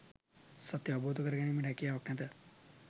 සත්‍යය අවබෝධ කර ගැනීමට හැකියාවක් නැත